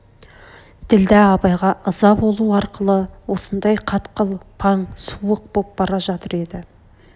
ділдә абайға ыза болу арқылы осындай қатқыл паң суық боп бара жатыр еді